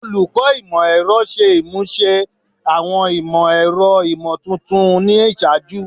Olukọ Imọ-ẹrọ ṣe imuse awọn imọ-ẹrọ imotuntun ni iṣaaju